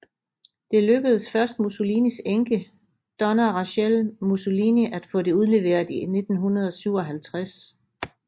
Det lykkedes først Mussolinis enke Donna Rachelle Mussolini at få det udleveret i 1957